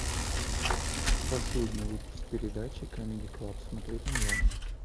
последний выпуск передачи камеди клаб смотреть онлайн